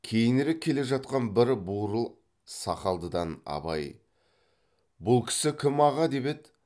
кейінірек келе жатқан бір бурыл сақалдыдан абай бұл кісі кім аға деп еді